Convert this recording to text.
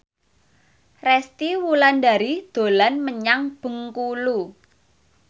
Resty Wulandari dolan menyang Bengkulu